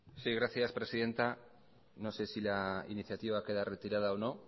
sí gracias presidenta no sé si la iniciativa queda retirada o no